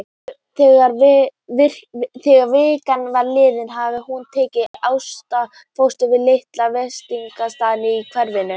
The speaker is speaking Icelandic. Þegar vika var liðin hafði hún tekið ástfóstri við lítinn veitingastað í hverfinu.